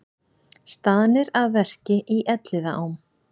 Staðnir að verki í Elliðaám